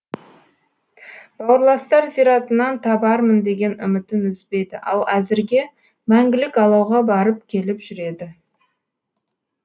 бауырластар зиратынан табармын деген үмітін үзбейді ал әзірге мәңгілік алауға барып келіп жүреді